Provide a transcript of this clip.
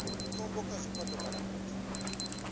khombo kha zwifhato kana fhethu